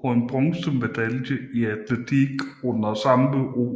og en bronzemedalje i atletik under samme OL i St